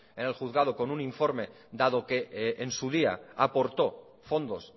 en el juzgado con un informe dado que en su día aportó fondos